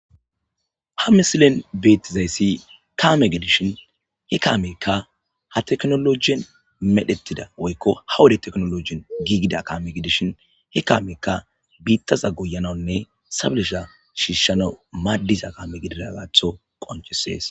Ha misilen beetizayssi kaame gidishin he kaamerka ha teknolojien medhettida woykko ha wode teknologien giigida kaame gidishin he kaameka biittaza guyanaunne sablesha shiishanawu maaddiza kaame gididagaatho qoncisees